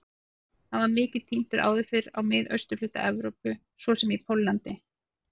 Hann var mikið tíndur áður fyrr í mið- og austurhluta Evrópu svo sem í Póllandi.